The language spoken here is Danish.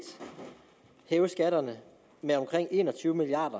hæves skatterne med omkring en og tyve milliard